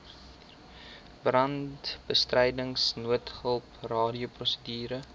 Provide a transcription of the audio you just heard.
brandbestryding noodhulp radioprosedure